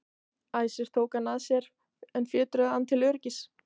Æsir tóku hann að sér en fjötruðu hann til öryggis.